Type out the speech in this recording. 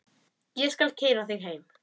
Ég skal keyra þig heim.